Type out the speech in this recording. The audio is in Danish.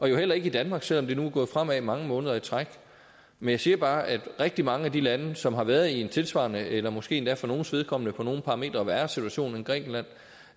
heller ikke i danmark selv om det nu er gået fremad mange måneder i træk jeg siger bare at rigtig mange af de lande som har været i en tilsvarende eller måske endda for nogles vedkommende på nogle parametre værre situation end grækenland